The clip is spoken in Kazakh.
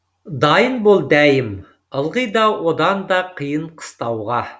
дайын бол дәйім ылғи да одан да қиын қыстауға